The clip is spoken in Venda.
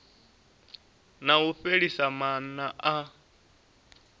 na u fhelisa maana a